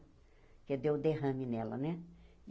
Porque deu derrame nela, né?